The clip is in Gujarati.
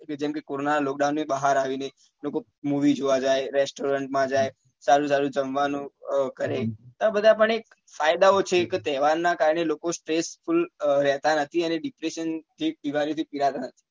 કે જેમ કે કરોના lockdown ની બહાર આવી ને લોકો movie જોવા જાય restaurant માં જાય સારું સારું જમવા નું કરે આ બધા પણ એક ફાયદા ઓ છે કે તહેવાર નાં કારણે લોકો stressful રહેતા નથી અને depression જેવી બીમારી થી પીડાતા નથી